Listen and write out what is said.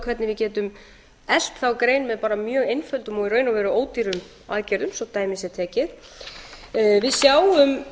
hvernig við getum eflt þá grein með bara mjög einföldum og í raun og veru ódýrum aðgerðum svo dæmi sé tekið við sjáum